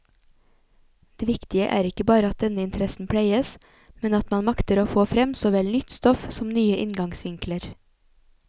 Det viktige er ikke bare at denne interessen pleies, men at man makter få frem såvel nytt stoff som nye inngangsvinkler.